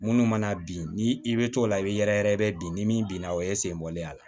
Minnu mana bin ni i bɛ t'o la i bɛ yɛrɛyɛrɛ bi ni min binna o ye sen bɔlen a la